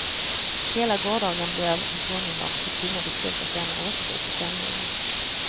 Hela gårdagen blev han påmind om sitt tunga beslut att lämna återbud till femmilen.